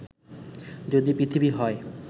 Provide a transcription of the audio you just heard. যদি পৃথিবী হয়